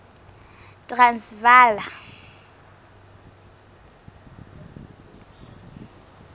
transvala